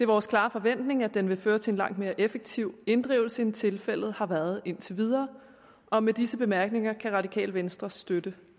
vores klare forventning at den vil føre til en langt mere effektiv inddrivelse end tilfældet har været indtil videre og med disse bemærkninger kan radikale venstre støtte